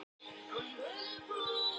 Þeir brenna er of nærri eldi sitja.